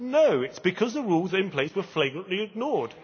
No, it is because the rules in place were flagrantly ignored.